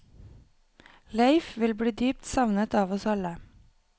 Leif vil bli dypt savnet av oss alle.